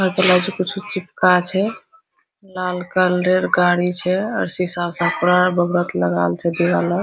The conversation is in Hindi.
हमरा ते लागे छै कुछो चिपका छै लाल कलर गाड़ी छै आर सीसा सब पूरा बहुत लागाल छै दीवाल आर --